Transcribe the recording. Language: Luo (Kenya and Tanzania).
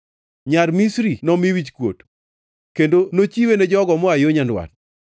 Nyar Misri nomi wichkuot, kendo nochiwe ne jogo moa yo nyandwat.”